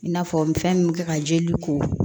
I n'a fɔ min fɛn min bɛ kɛ ka jeli ko